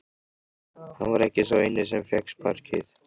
Hann var ekki sá eini sem fékk sparkið.